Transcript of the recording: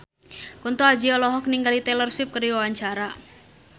Kunto Aji olohok ningali Taylor Swift keur diwawancara